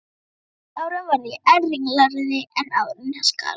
unglingsárunum varð ég enn ringlaðri en áður í hans garð.